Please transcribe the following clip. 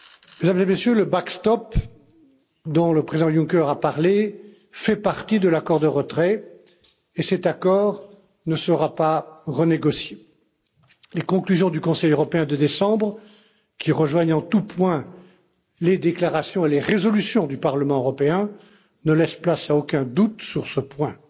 Mesdames et Messieurs, le backstop dont le président Juncker a parlé, fait partie de l'accord de retrait et cet accord ne sera pas renégocié. Les conclusions du Conseil européen de décembre, qui rejoignent en tous points les déclarations et les résolutions du Parlement européen, ne laissent place à aucun doute sur ce point.